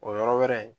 O yɔrɔ wɛrɛ in